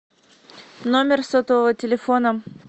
номер сотового телефона